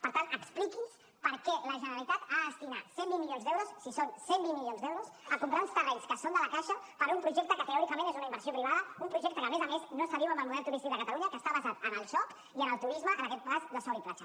per tant expliqui’ns per què la generalitat ha de destinar cent i vint milions d’euros si són cent i vint milions d’euros a comprar uns terrenys que són de la caixa per un projecte que teòricament és una inversió privada un projecte que a més a més no s’adiu amb el model turístic de catalunya que està basat en el joc i en el turisme en aquest cas de sol i platja